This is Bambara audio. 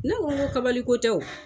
Ne ko n ko kabali ko tɛ